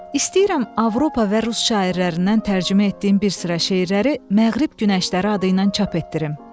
İstəyirəm Avropa və rus şairlərindən tərcümə etdiyim bir sıra şeirləri "Məğrib Günəşləri" adı ilə çap etdirim.